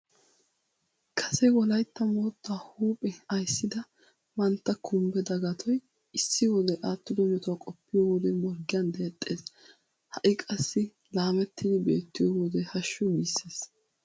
Kase Wolaytta moottaa huuphe ayssida mantta Kumbbe Dagatoy issi wode aattido metuwa qoppiyo wode morggiyan deexxees. Ha"i qassi laamettidi beettiyo wode hashshu giissees.